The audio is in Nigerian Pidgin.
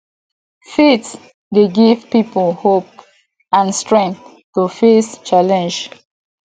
faith dey give people hope and strength to face challenges